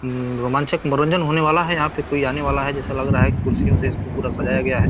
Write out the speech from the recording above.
हूं रोमांचक मनोरंजन होने वाला है यहाँ पे कोई आने वाला है जैसा लग रहा है कुर्सियों से इसको पूरा सजाया गया है।